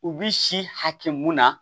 U bi si hakɛ mun na